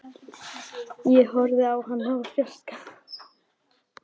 Ég horfði á hann úr fjarska.